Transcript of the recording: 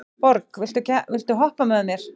Borg, viltu hoppa með mér?